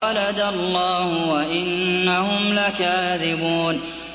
وَلَدَ اللَّهُ وَإِنَّهُمْ لَكَاذِبُونَ